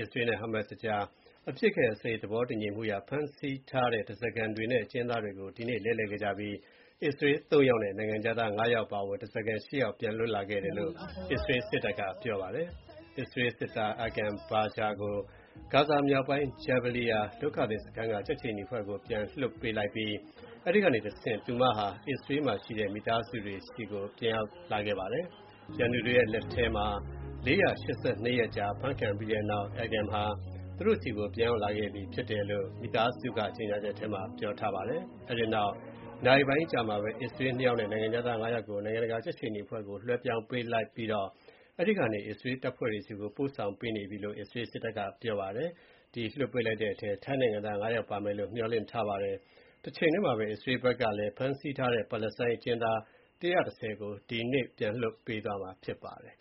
အစ္စရေးနဲ့ဟာမတ်စ်ကြား အပစ်အခတ်ရပ်စဲရေးသဘောတူညီမှုအရ ဖမ်းဆီးထားတဲ့ဓါးစာခံတွေနဲ့ အကျဉ်းသားတွေကို တတိယအကြိမ် ဒီနေ့ လဲလှယ်ခဲ့ကြပြီး အစ္စရေး ၃ ယောက်နဲ့ နိုင်ငံခြားသား ၅ ယောက်အပါအဝင် ဓါးစာခံ ၈ ယောက် ပြန်လည် လွတ်မြောက်လာခဲ့တယ်လို့ အစ္စရေးစစ်တပ်က ပြောပါတယ်။ အစ္စရေးစစ်သား Agam Berger ကို ဂါဇာမြောက်ပိုင်း Jabaliya ဒုက္ခသည်စခန်းက ကြက်ခြေနီအဖွဲ့ဆီ ပြန်လွှတ်ပေးလိုက်ပြီး အဲဒီကနေတဆင့် အစ္စရေးမှာရှိတဲ့ မိသားစုတွေဆီကို ပြန်ရောက်လာခဲ့ပါတယ်။ ရန်သူတွေရဲ့လက်ထက်မှာ ၄၈၂ ရက်ကြာ ဖမ်းခံရပြီးတဲ့နောက် Agam ဟာ သူတို့ဆီကို ပြန်ရောက်လာခဲ့ ပြီလို့ သူ့မိသားစုက ကြေညာချက်ထဲမှာ ပြောထားပါတယ်။ အဲဒီနောက် နာရီပိုင်းအကြာမှာပဲ အစ္စရေး ၂ ယောက်နဲ့ နိုင်ငံခြားသား ၅ ယောက်ကို နိုင်ငံတကာ ကြက်ခြေနီအဖွဲ့ဆီ လွှဲပြောင်းပေးလိုက်ပြီးတော့ အဲဒီကနေ အစ္စရေးတပ်ဖွဲ့တွေဆီကို ပို့ဆောင်ပေးနေပြီ လို့ အစ္စရေးစစ်တပ်က ပြောပါတယ်။ ဒီနေ့ လွှတ်ပေးလိုက်တဲ့အထဲမှာ ထိုင်းနိုင်ငံသား ၅ ယောက် ပါမယ်လို့ ခန့်မှန်းနေကြပါတယ်။ တချိန်တည်းမှာပဲ အစ္စရေးဘက်ကလည်း ဖမ်းဆီးထားတဲ့ပါလက်စတိုင်း အကျဉ်းသား ၁၁၀ ကို ဒီနေ့ လွှတ်ပေးသွားရမှာ ဖြစ်ပါတယ်။